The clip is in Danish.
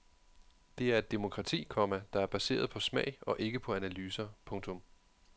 Det er et demokrati, komma der er baseret på smag og ikke på analyser. punktum